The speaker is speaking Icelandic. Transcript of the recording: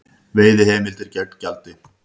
Veiðiheimildir gegn gjaldi